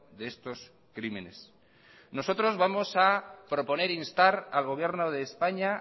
de estos crímenes nosotros vamos a proponer instar al gobierno de españa